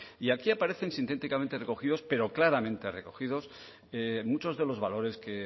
y aquí aparece sintéticamente recogidos pero claramente recogidos muchos de los valores que